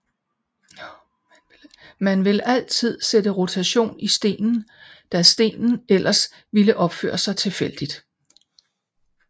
Man vil altid sætte rotation i stenen da stenen ellers ville opføre sig tilfældigt